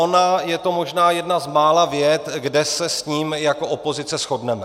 Ona je to možná jedna z mála vět, kde se s ním jako opozice shodneme.